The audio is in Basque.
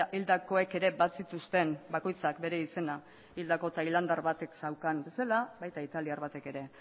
hildakoek ere bazituzten bakoitzak bere izena hildako tailandiar batek zeukan bezala baita italiar batek ere